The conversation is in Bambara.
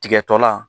Tigɛ tɔla